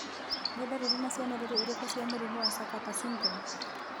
Nĩ ndariri na cionereria irĩkũ cia mũrimũ wa Sakati syndrome?